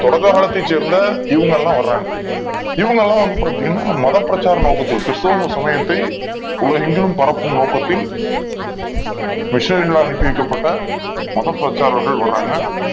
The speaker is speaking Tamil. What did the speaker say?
தொடக்க காலத்தை சேர்ந்த இவங்க எல்லாம் வராங்க இவங்க எல்லாம் பார்த்தீங்கன்னா மத பிரச்சார நோக்கத்தில் கிறிஸ்துவ சமயத்தை உலகெங்கும் பரவும் நோக்கத்தில் missionary அனுப்பப்பட்ட மதப் பிரச்சாரகராக வராங்க